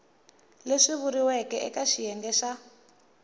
leswi vuriweke eka xiyenge xa